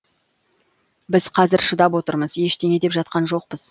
біз қазір шыдап отырмыз ештеңе деп жатқан жоқпыз